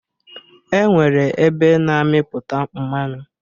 E nwere ebe na-amịpụta mmanụ